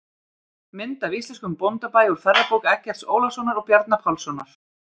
Mynd af íslenskum bóndabæ úr ferðabók Eggerts Ólafssonar og Bjarna Pálssonar.